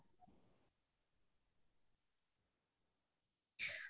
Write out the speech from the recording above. তুমি কি কৰি ভাল পোৱা আজৰি সময়ত